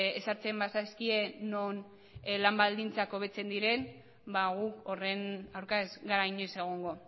ezartzen bazaizkie non lan baldintzak hobetzen diren gu horren aurka ez gara inoiz egongo